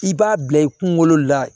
I b'a bila i kunkolo la